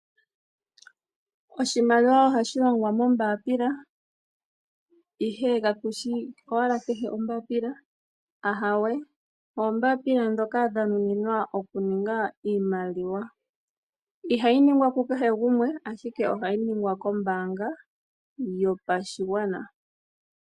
Oshimaliwa ohashi longwa mombapila, ihe ka kushi owala kehe ombapila, ahawe oombapila dhoka dha nuninwa okuninga iimaliwa. Ihayi ningwa ku kehe gumwe ashike ohayi ningwa kombanga yopashigwana.